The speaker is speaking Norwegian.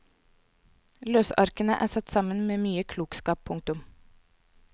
Løsarkene er satt sammen med mye klokskap. punktum